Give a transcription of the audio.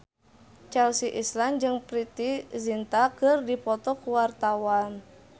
Chelsea Islan jeung Preity Zinta keur dipoto ku wartawan